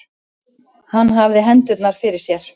Hann hafði hendurnar fyrir sér.